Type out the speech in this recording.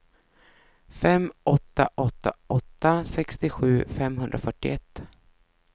fem åtta åtta åtta sextiosju femhundrafyrtioett